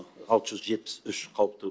алты жүз жетпіс үш қауіпті